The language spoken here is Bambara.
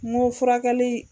n ko furakɛli.